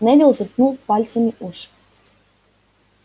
невилл заткнул пальцами уши